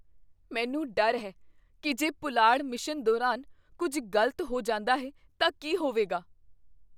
ਮੈਨੂੰ ਡਰ ਹੈ ਕੀ ਜੇ ਪੁਲਾੜ ਮਿਸ਼ਨ ਦੌਰਾਨ ਕੁੱਝ ਗਲਤ ਹੋ ਜਾਂਦਾ ਹੈ ਤਾਂ ਕੀ ਹੋਵੇਗਾ।